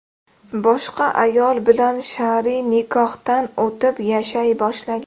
boshqa ayol bilan shar’iy nikohdan o‘tib, yashay boshlagan.